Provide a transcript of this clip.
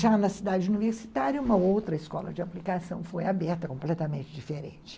Já na cidade universitária, uma outra escola de aplicação foi aberta, completamente diferente.